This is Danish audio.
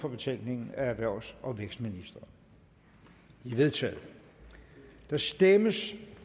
for betænkningen af erhvervs og vækstministeren de er vedtaget der stemmes